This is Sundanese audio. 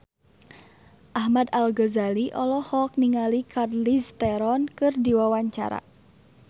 Ahmad Al-Ghazali olohok ningali Charlize Theron keur diwawancara